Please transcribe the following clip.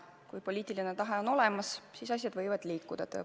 Kui poliitiline tahe on olemas, siis asjad võivad liikuda.